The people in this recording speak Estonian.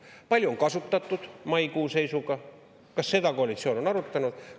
Kui palju on kasutatud maikuu seisuga ja kas seda koalitsioon on arutanud?